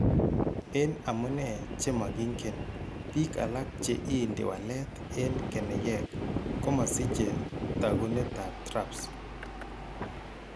En amunee che makiinken, biik alak che iinti walet en keneyeek komasiche taakunetaab TRAPS.